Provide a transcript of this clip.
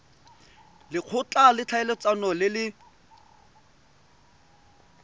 lekgotla la ditlhaeletsano le le